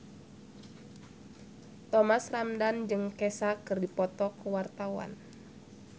Thomas Ramdhan jeung Kesha keur dipoto ku wartawan